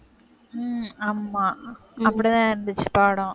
உம் ஆமா, அப்படிதான் இருந்துச்சு படம்